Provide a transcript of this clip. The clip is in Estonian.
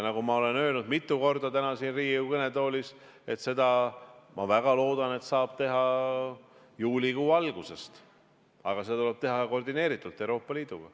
Nagu ma olen öelnud mitu korda siin Riigikogu kõnetoolis: seda, ma väga loodan, saab teha juulikuu algusest, aga seda tuleb teha koordineeritult Euroopa Liiduga.